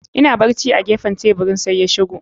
Ina barci a gefen teburin, sai ya shigo.